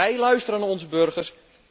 Wij luisteren naar onze burgers.